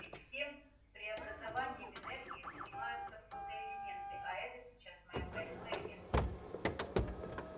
ведь всем преобразованием энергии занимаются фотоэлементы а это сейчас моё больное место